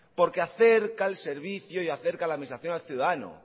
porque acerca el servicio y acerca la administración al ciudadano